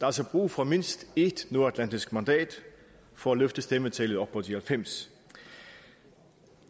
altså brug for mindst ét nordatlantisk mandat for at løfte stemmetallet op på de halvfems